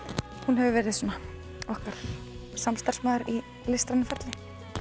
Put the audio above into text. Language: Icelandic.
hún hefur verið okkar samstarfskona í listrænu ferli